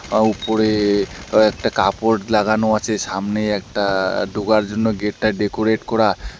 আঃ উপরে কয়েকটা কাপড় লাগানো আছে সামনে একটা ঢোকার জন্য গেট -টা ডেকোরেট কোরা।